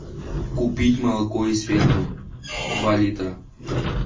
купить молоко из фермы два литра